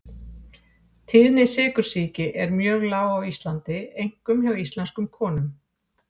Tíðni sykursýki er mjög lág á Íslandi einkum hjá íslenskum konum.